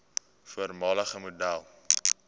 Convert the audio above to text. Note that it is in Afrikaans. voormalige model